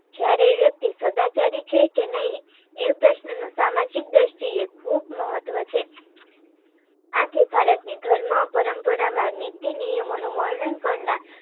જયારે એ વ્યક્તિ સદાચારી છે કે નઈ એ પ્રશ્ન નો સામાજિક દ્રષ્ટિ એ ખૂબ મહત્વ છે. આથી ભારત ને ધર્મ પરંપરા કે નીતિ નિયમો નું વર્ણન કરનાર